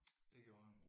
Det gjorde han